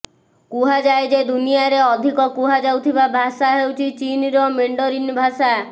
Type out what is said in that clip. କୁହାଯାଏ ଯେ ଦୁନିଆରେ ଅଧିକ କୁହାଯାଉଥିବା ଭାଷା ହେଉଛି ଚୀନର ମେଣ୍ଡରୀନ୍ ଭାଷା